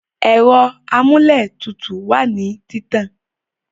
Ẹ̀rọ amúlétutù wá nìí títàn